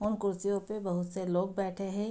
और कुर्सियों पे बहुत से लोग बैठे है।